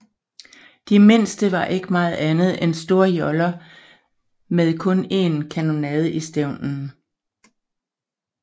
De mindste var ikke meget andet end store joller med kun en kanonade i stævnen